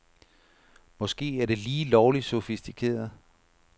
Måske er det lige lovligt sofistikeret.